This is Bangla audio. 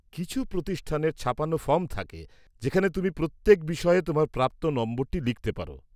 কিছু প্রতিষ্ঠানের ছাপানো ফর্ম থাকে যেখানে তুমি প্রত্যেক বিষয়ে তোমার প্রাপ্ত নম্বরটি লিখতে পার।